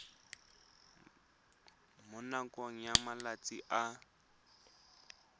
mo nakong ya malatsi a